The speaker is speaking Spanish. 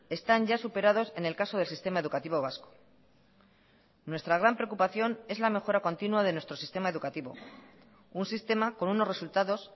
están ya superados en el caso del sistema educativo vasco nuestra gran preocupación es la mejora continua de nuestro sistema educativo un sistema con unos resultados